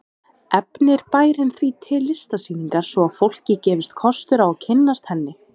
Efnir bærinn því til listsýningar svo að fólki gefist kostur á að kynnast henni.